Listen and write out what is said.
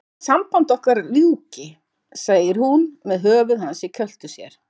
Ég vil að sambandi okkar ljúki, segir hún með höfuð hans í kjöltu sér.